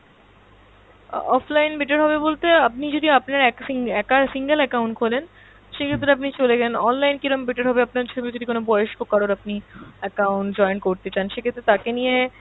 অ্যাঁ offline better হবে বলতে আপনি যদি আপনার একার single account খোলেন সেক্ষেত্রে আপনি চলে গেলেন, online কীরকম better হবে আপনার সঙ্গে যদি বয়স্ক কারোর আপনি account joint করতে চান সেক্ষেত্রে আপনি তাকে নিয়ে,